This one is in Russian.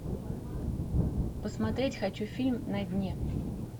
посмотреть хочу фильм на дне